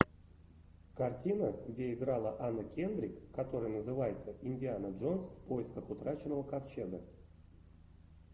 картина где играла анна кендрик которая называется индиана джонс в поисках утраченного ковчега